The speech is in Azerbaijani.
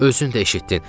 Özün də eşitdin.